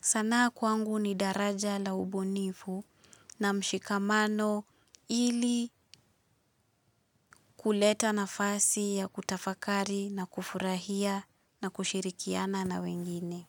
Sanaa kwangu ni daraja la ubunifu na mshikamano ili kuleta nafasi ya kutafakari na kufurahia na kushirikiana na wengine.